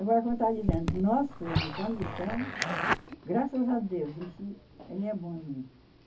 Agora, como eu tava dizendo, nós tudo, e quando tem, graças a Deus, e se ele é bonzinho.